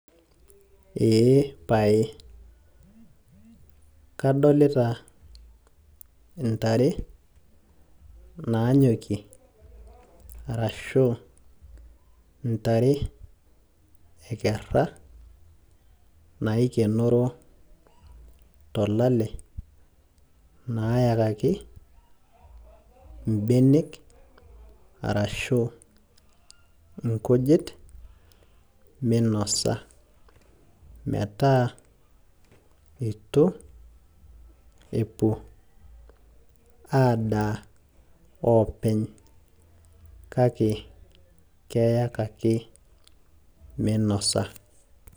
ee pae, kadolita intare naanyokie arashu intare ekera, naikenoro tolale, naayakaki ibenek, arashu inkujit minosa metaa, eitu epuo adaa oopeny, kake keyakaki monosa.